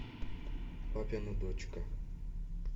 папина дочка